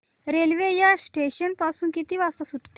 railway या station पासून किती वाजता सुटते